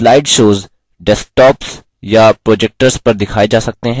slide shows desktops या projectors पर दिखाए जा सकते हैं